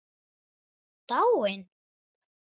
Dáin?